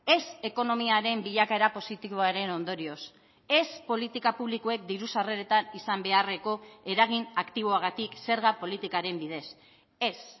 ez ekonomiaren bilakaera positiboaren ondorioz ez politika publikoek diru sarreretan izan beharreko eragin aktiboagatik zerga politikaren bidez ez